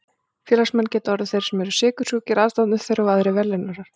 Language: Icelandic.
Félagsmenn geta orðið þeir sem eru sykursjúkir, aðstandendur þeirra og aðrir velunnarar.